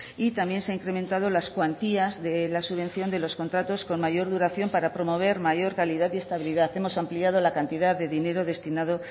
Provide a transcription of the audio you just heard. y también se ha incrementado las cuantías de la subvención de los contratos con mayor duración para promover mayor calidad y estabilidad hemos ampliado la cantidad de dinero destinado